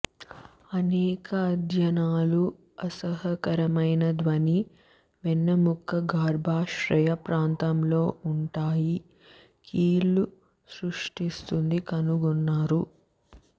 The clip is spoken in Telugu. అనేక అధ్యయనాలు అసహ్యకరమైన ధ్వని వెన్నెముక గర్భాశయ ప్రాంతం లో ఉంటాయి కీళ్ళు సృష్టిస్తుంది కనుగొన్నారు